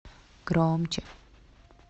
громче